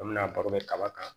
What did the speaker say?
An bɛna baro kɛ kaba kan